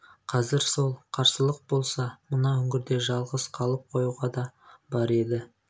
қазір сәл қарсылық болса мына үңгірде жалғыз қалып қоюға да бар еді